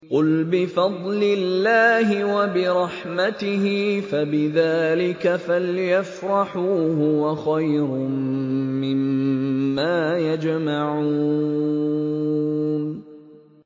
قُلْ بِفَضْلِ اللَّهِ وَبِرَحْمَتِهِ فَبِذَٰلِكَ فَلْيَفْرَحُوا هُوَ خَيْرٌ مِّمَّا يَجْمَعُونَ